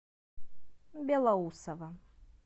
белоусово